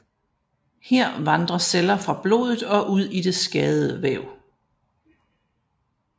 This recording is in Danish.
Her vandrer celler fra blodet og ud i det skadede væv